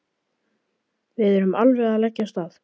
Við erum alveg að leggja af stað.